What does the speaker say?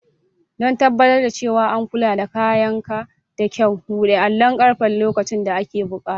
Don tabbatar da cewa an kula da kayanka da kyau, buɗe allon ƙarfe lokacin da ake buƙata.